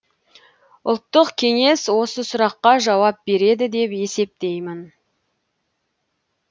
ұлттық кеңес осы сұраққа жауап береді деп есептеймін